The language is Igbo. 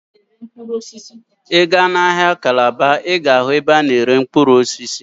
Ị gaa n'ahịa Calabar, Ị ga-ahụ ebe a na-ere mkpụrụ osisi.